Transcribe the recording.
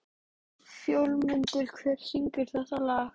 Fjólmundur, hver syngur þetta lag?